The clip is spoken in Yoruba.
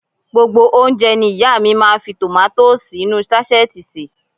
Gbogbo oúnjẹ ní ìyá à mi máa ń fi tòmátósì inú ú sáṣẹ́ẹ̀tì sè